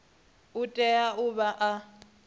u tea u vha a